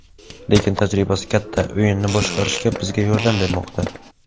Lekin tajribasi katta, o‘yinni boshqarishga bizga yordam bermoqda.